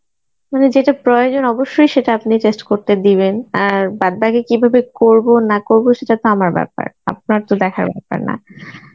মানে যেটা প্রয়োজন সেটা অবশ্যই আপনি test করতে দিবেন আর বাদবাকি কীভাবে করব না করব সেটা তো আমার ব্যাপার আপনার তো দেখার ব্যাপার না.